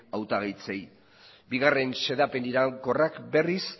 hautagaitzei bigarren xedapen iraunkorrak berriz